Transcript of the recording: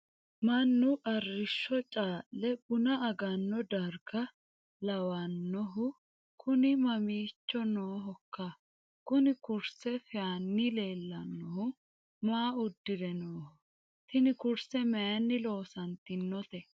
mannu arrishsho caalle buna aganno darga lawannhu kuni mamiicho noohokka? kuni kurse feyaanni leellannohu maa uddire nooho? tini kurse mayiinni loonsoonnite?